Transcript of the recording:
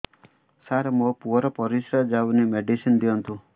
ସାର ମୋର ପୁଅର ପରିସ୍ରା ଯାଉନି ମେଡିସିନ ଦିଅନ୍ତୁ